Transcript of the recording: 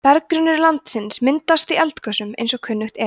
berggrunnur landsins myndast í eldgosum eins og kunnugt er